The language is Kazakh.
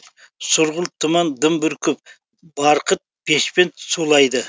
сұрғылт тұман дым бүркіп барқыт бешпент сулайды